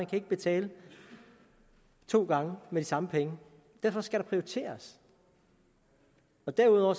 kan betale to gange med de samme penge derfor skal der prioriteres derudover